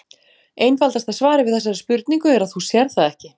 Einfaldasta svarið við þessari spurningu er að þú sérð það ekki.